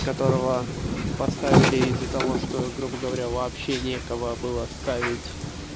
которого поставили из-за того что грубо говоря вообще некого было ставить